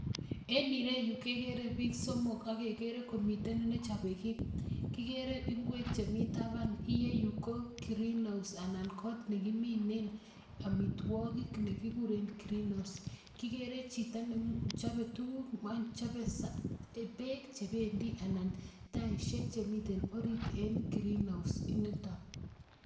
En ireyu kekere piik somok ak kekere komiten ne chope kiy, kikere ingwek chemi taban, iyeyu ko greenhouse anan got ne kiminen amitwogik ne kikuren greenhouse, kikere chito ne chope tukuk ngwany chobe beek che bendi anan taisiek chemiten orit en greenhouse initon.